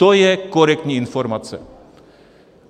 To je korektní informace.